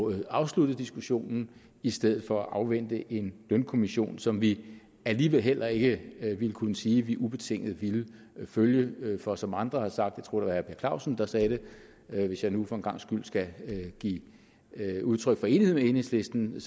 afsluttet diskussionen i stedet for at afvente en lønkommission som vi alligevel heller ikke ville kunne sige at vi ubetinget ville følge for som andre har sagt jeg tror at per clausen hvis jeg nu for en gangs skyld skal give udtryk for enighed med enhedslisten